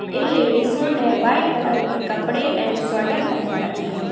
इन लेडिसो ने white colour के कपड़े एंड स्वेटर पहन रखी है।